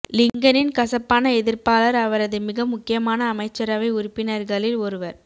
லிங்கனின் கசப்பான எதிர்ப்பாளர் அவரது மிக முக்கியமான அமைச்சரவை உறுப்பினர்களில் ஒருவர்